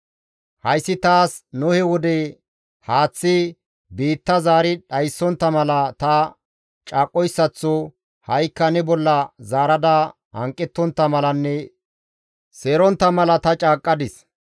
«Hayssi taas Nohe wode haaththi biitta zaari dhayssontta mala ta caaqqoyssaththo ha7ikka ne bolla zaarada hanqettontta malanne seerontta mala ta caaqqadis.